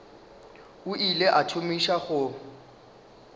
o ile a thomiša go